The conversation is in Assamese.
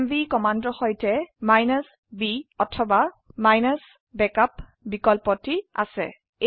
এমভি কমান্ডৰ সৈতে b অথবা ব্যাকআপ বিকল্পটি আছে